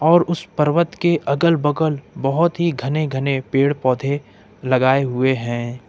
और उस पर्वत के अगल बगल बहोत ही घने घने पेड़ पौधे लगाए हुए हैं।